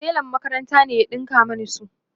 telan makaranta ne ya ɗinka Mani su